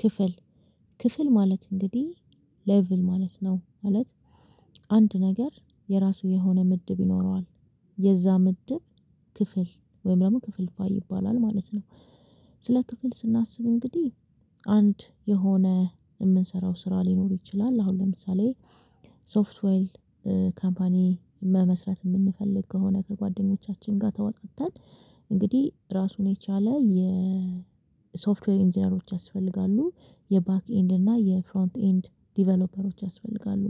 ክፍል ክፍል ማለት እንግዲህ ሌቭል ማለት ነው ማለት። አንድ ነገር የራሱ የሆነ ምድብ ይኖረዋል የዛ ምድብ ክፍል ወይም ደግሞ ክፍልፋይ ይባላል ማለት ነው። ስለ ክፍል ስናስብ እንግዲህ አንድ የሆነ የምንሰራው ስራ ሊኖር ይችላል አሁን ለምሳሌ ሶፍትዌል ካምፓኒ መመስረት የምንፈልግ ከሆነ ከጓደኞቻችን ጋር ተወጣጠን እንግዲህ ራሱን የቻለ የ ሶፍትዌር ኢንጂነሮች ያስፈልጋሉ የባክ ኤንድ እና የፍሮንት ኤንድ ዲቨሎፐሮች ያስፈልጋሉ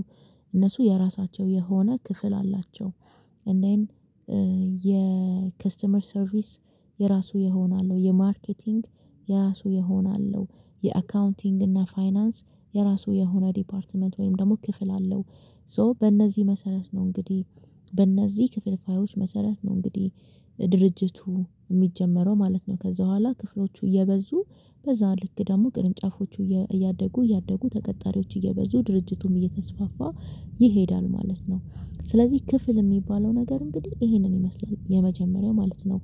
እነሱ የራሳቸው የሆነ ክፍል አላቸው። የከስተመር ሰርቪስ የራሱ ይሆነ አለው የማርኬቲንግ የራሱ የሆነ አለው የአካውንቲንግ እና ፋይናንስ የራሱ የሆነ ዲፓርትመንት ወይም ደግሞ ክፍል አለው። ሶ በእነዚህ መሰረት ነው እንግዲህ በእነዚህ ክፍልፋዮች መሰረት ነው እንግዲህ ድርጅቱ የሚጀመረው ማለት ነው። ከዛ በኋላ ክፍሎቹ እየበዙ በዛ ልክ ደግሞ ቅርንጫፎቹ እያደጉ እያደጉ ተቀጣሪዎች እየበዙ ድርጅቱም እየተስፋፋ ይሄዳል ማለት ነው። ስለዚህ ክፍል የሚባለው ነገር እንግዲህ ይሄንን ይመስለኛል የመጀመሪያው ማለት ነው።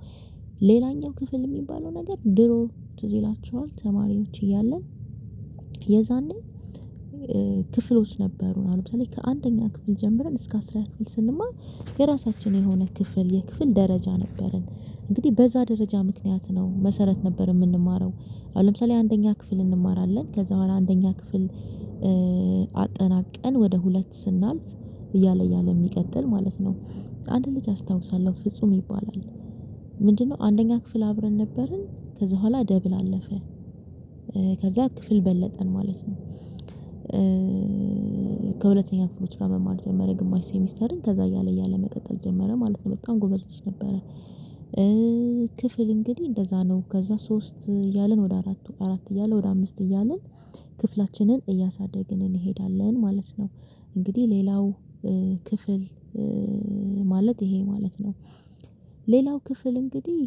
ሌላኛው ክፍል የሚባለው ነገር ድሮ ትዝ ይላችኋል ተማሪዎች እያለን የዛኔ ክፍሎች ነበሩ አሁን ለምሳሌ ከአንደኛ ክፍል ጀምረን እስከ አስራ ክፍል ስንማር የራሳችን የሆነ ክፍል የክፍል ደረጃ ነበረን እንግዲህ በዛ ደረጃ ምክንያት ነው መሰረት ነበር። የምንማረው አሁን ለምሳሌ አንደኛ ክፍል እንማራለን ከዛ በኋላ አንደኛ ክፍል አጠናቀን ወደ ሁለት ስናልፍ እያለ እያለ የሚቀጥል ማለት ነው። አንድ ልጅ አስታውሳለሁ ፍጹም ይባላል ምንድነው? አንደኛ ክፍል አብረን ነበርን ከዛ በኋላ ደብል አለፈ ከዛ ክፍል በለጠን ማለት ነው። ከሁለተኛ ክፍሎች ጋር መማር የጀመረ ግማሽ ሴሚስተርን ከዛ እያለ እያለ መቀጠል ጀመረ ማለት ነው በጣም ጎበዝ ልጅ ነበረ። ክፍል እንግዲህ እንደዛ ነው ከዛ ሶስት እያልን ወደ አራቱ አራት እያልን ወደ አምስት እያልን ክፍላችንን እያሳደግን እንሄዳለን ማለት ነው። እንግዲህ ሌላው ክፍል ማለት ይሄ ማለት ነው ሌላው ክፍል እንግዲህ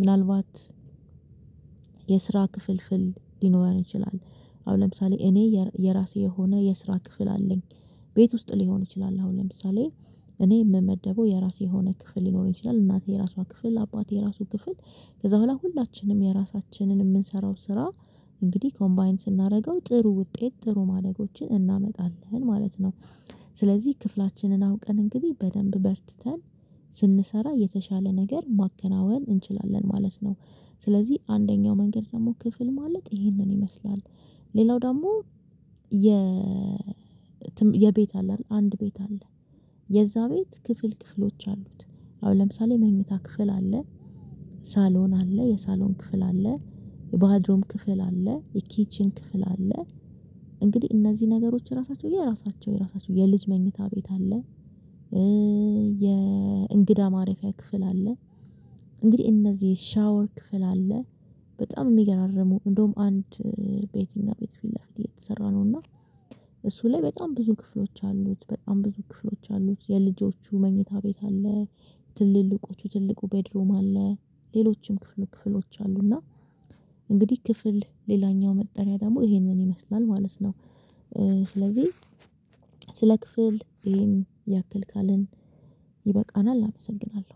ምናልባት የስራ ክፍልፍል ሊኖረን ይችላል። አሁን ለምሳሌ እኔ የራሴ የሆነ የስራ ክፍል አለኝ። ቤት ውስጥ ሊሆን ይችላል አሁን ለምሳሌ እኔ የምመደበው የራሴ የሆነ ክፍል ሊኖር ይችላል እናቴ የራሷ ክፍል አባቴ የራሱ ክፍል ከዛ በኋላ ሁላችንም የራሳችንን የምንሰራው ስራ እንግዲህ ኮምባይን ስናደርገው ጥሩ ውጤት ጥሩ ማደጎችን እናመጣለን ማለት ነው። ስለዚህ ክፍላችንን አውቀን እንግዲህ በደንብ በርትተን ስንሰራ የተሻለ ነገር ማከናወን እንችላለን ማለት ነው። ስለዚህ አንደኛው መንገድ ደግሞ ክፍል ማለት ይሄንን ይመስላል። ሌላው ደግሞ የ የቤት አለ አድል አንድ ቤት አለ የዛ ቤት ክፍል ክፍሎች አሉት አሁን ለምሳሌ መኝታ ክፍል አለ ሳሎን አለ የሳሎን ክፍል አለ የባድሮም ክፍል አለ የኪችን ክፍል አለ። እንግዲህ እነዚህ ነገሮች ራሳቸው የራሳቸው የራሳቸው የልጅ መኝታ ቤት አለ። የእንግዳ ማረፊያ ክፍል አለ እንግዲህ እነዚህ ሻወር ክፍል አለ። በጣም የሚገራርሙ እንደውም አንድ ቤት እኛ ቤት ፊት ለፊት እየተሰራ ነው እና እሱ ላይ በጣም ብዙ ክፍሎች አሉት በጣም ብዙ ክፍሎች አሉት የልጆቹ መኝታ ቤት አለ ትልልቆቹ ትልቁ ቤድሩም አለ ሌሎችም ክፍል ክፍሎች አሉ እና እንግዲህ ክፍል ሌላኛው መጠሪያ ደግሞ ይሄንን ይመስላል ማለት ነው። ስለዚህ ስለ ክፍል ይሄን ያክል ካልን ይበቃናል አመሰግናለሁ።